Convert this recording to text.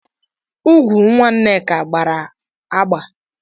ụkwụ nwa nneka agbara agba.